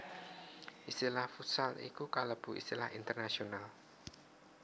Istilah futsal iku kalebu istilah internasional